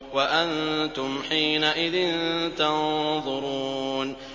وَأَنتُمْ حِينَئِذٍ تَنظُرُونَ